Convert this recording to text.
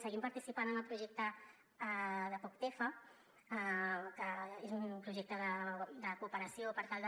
seguim participant en el projecte de poctefa que és un projecte de cooperació per tal de